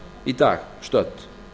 í dag stödd